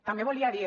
també volia dir